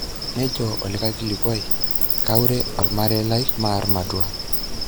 Nejo olikae kilikuai:"kaure olmarei lai maar matua".